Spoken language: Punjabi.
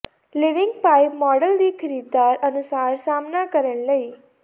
ਿਲਵਿੰਗ ਪਾਈਪ ਮਾਡਲ ਦੀ ਖਰੀਦਦਾਰ ਅਨੁਸਾਰ ਸਾਮ੍ਹਣਾ ਕਰਨ ਲਈ